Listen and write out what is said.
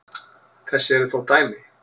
Þess eru þó dæmi.